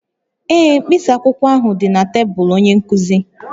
Ee, mkpịsị akwụkwọ ahụ dị na tebụl onye nkuzi